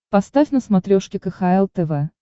поставь на смотрешке кхл тв